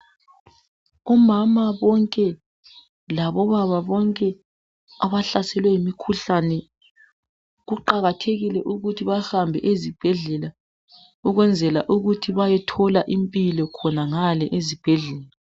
Omama bonke labobaba bonke abahlaselwe yimikhuhlane kuqakathekile ukuthi bahambe ezibhedlela ukwenzela ukuthi bayethola impilo khonangale ezibhedlela.